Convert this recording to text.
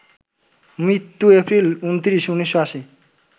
মৃত্যুঃ April ২৯, ১৯৮০